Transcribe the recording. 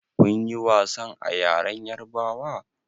Kun ƴi wasan a ƴaren yarbawa?